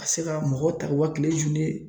Ka se ka mɔgɔ ta u ka tile